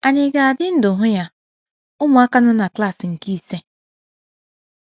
Ànyị ga - adị ndụ hụ adị ndụ hụ ya? — Ụmụ akwụkwọ nọ na klas nke ise